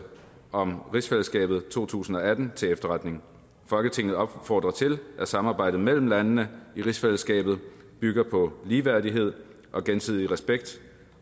om rigsfællesskabet to tusind og atten til efterretning folketinget opfordrer til at samarbejdet mellem landene i rigsfællesskabet bygger på ligeværdighed og gensidig respekt